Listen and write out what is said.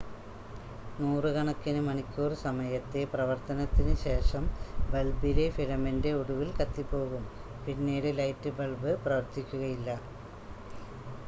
നൂറുകണക്കിന് മണിക്കൂർ സമയത്തെ പ്രവർത്തനത്തിന് ശേഷം ബൾബിലെ ഫിലമെൻ്റ് ഒടുവിൽ കത്തിപ്പോകും പിന്നീട് ലൈറ്റ് ബൾബ് പ്രവർത്തിക്കുകയില്ല